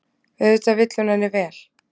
Auðvitað vill hún henni vel.